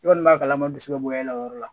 E kɔni b'a kalama bɔ e la o yɔrɔ la